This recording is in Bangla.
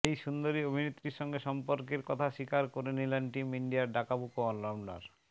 এই সুন্দরী অভিনেত্রীর সঙ্গে সম্পর্কের কথা স্বীকার করলেন টিম ইন্ডিয়ার ডাকাবুকো অলরাউন্ডার